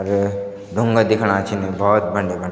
अर ढुंगा दिख्येणा छिन भौत बंड्या बंड्या।